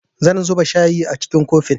Zan zuba shayin a cikin kofi